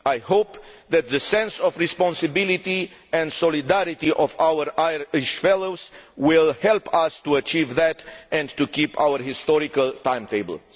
I hope that the sense of responsibility and solidarity of our Irish fellows will help us to achieve that, and to keep to our historical timetable.